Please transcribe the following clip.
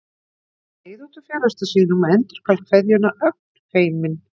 Hann skreið út úr felustað sínum og endurgalt kveðjuna, ögn feiminn.